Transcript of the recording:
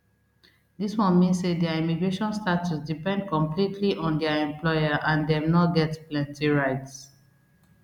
dis one mean say dia immigration status depend completely on dia employer and dem no get plenty rights